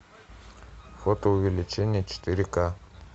фотоувеличение четыре ка